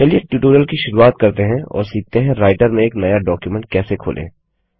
चलिए ट्यूटोरियल की शुरुआत करते हैं और सीखते हैं राइटर में एक नया डॉक्युमेंट कैसे खोलें